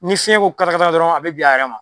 Ni fiɲɛ ko katakata dɔrɔn a bɛ bin a yɛrɛ ma.